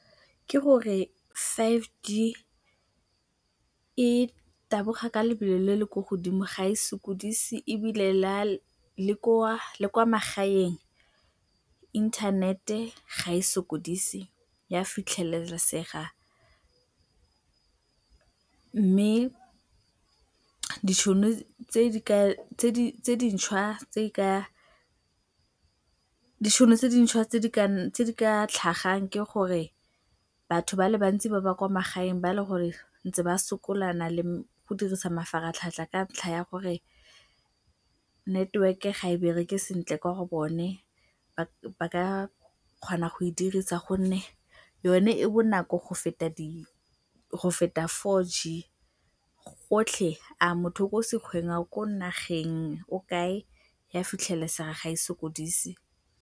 Ke gore five G e taboga ka lebelo le le ko godimo, ga e sokodise ebile le kwa magaeng inthanete ga e sokodise, e a fitlhelesega mme ditšhono tse dintšhwa tse di ka tlhagang ke gore batho ba le bantsi ba ba kwa magaeng ba e leng gore ba ntse ba sokolana le go dirisa mafaratlhatlha ka ntlha ya gore network-e ga e bereke sentle kwa go bone ba ka kgona go e dirisa gonne yone e bonako go feta four G, gotlhe a motho o sekgweng, a o ko nageng, ko kae, e a fitlhelesega ga e sokodise.